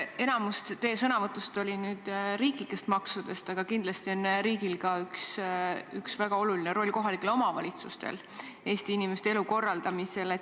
Enamik teie sõnavõtust rääkis riiklikest maksudest, aga kindlasti on väga oluline roll ka kohalikel omavalitsusel Eesti inimeste elu korraldamisel.